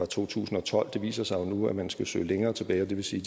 to tusind og tolv det viser sig jo nu at man skal søge længere tilbage og det vil sige